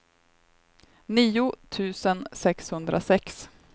nio tusen sexhundrasex